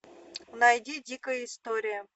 найди дикая история